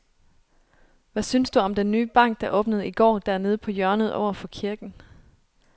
Hvad synes du om den nye bank, der åbnede i går dernede på hjørnet over for kirken?